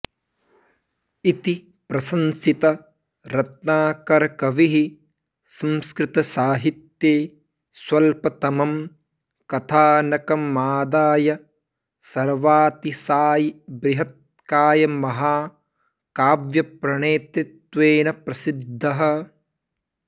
इति प्रशंसित रत्नाकरकविः संस्कृतसाहित्ये स्वल्पतमं कथानकमादाय सर्वातिशायिबृहत्कायमहाकाव्यप्रणेतृत्वेन प्रसिद्धः